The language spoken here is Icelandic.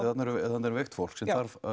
þarna er veikt fólk sem